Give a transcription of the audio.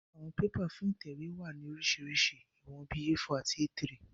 Àwọn bébà fún ìtẹ̀wé wá ní oríṣiríṣi ìwọ̀n bíi A4 àti A3